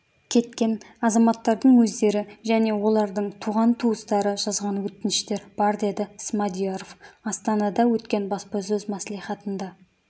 кеткен азаматтардың өздері және олардың туған-туыстары жазған өтініштер бар деді смадияров астанада өткен баспасөз мәслихатында